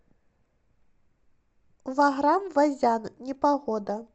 ваграм вазян непогода